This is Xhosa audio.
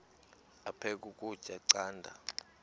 aphek ukutya canda